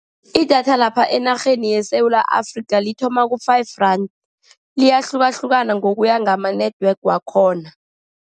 Idatha lapha enarheni yeSewula Afrika lithoma ku-five rand, liyahlukahlukana ngokuya ngama-network wakhona.